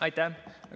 Aitäh!